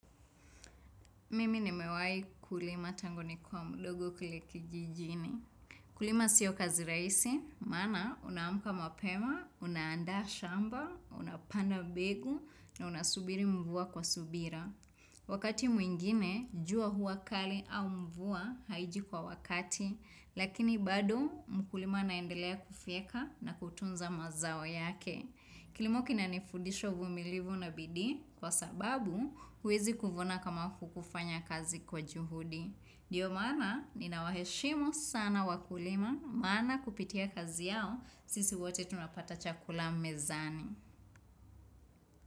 Mimi nimewahi kulima tangu nikiwa mdogo kule kijijini. Kulima sio kazi rahisi, maana unamka mapema, unaenda shamba, unapanda mbegu na unasubiri mvua kwa subira. Wakati mwingine, jua hua kali au mvua haiji kwa wakati, lakini bado mkulima anaendelea kufyeka na kutunza mazao yake. Kilimo kinanifudisha uvumilivu na bidii kwa sababu huwezi kuvuna kama hukufanya kazi kwa juhudi. Ndio maana ninawaheshimu sana wakulima maana kupitia kazi yao sisi wote tunapata chakula mezani.